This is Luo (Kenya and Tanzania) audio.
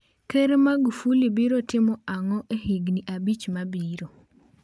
Ker Magufuli biro timo ang'o e higini abich mabiro?